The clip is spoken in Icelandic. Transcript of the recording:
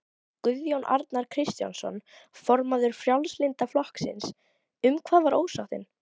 Guðjón Arnar Kristjánsson, formaður Frjálslynda flokksins: Um hvað var ósáttin?